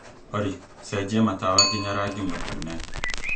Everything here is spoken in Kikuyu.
olly cenjia matawa nginya rangi mũtune